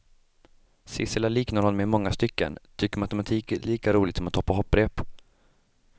Sissela liknar honom i många stycken, tycker matematik är lika roligt som att hoppa hopprep.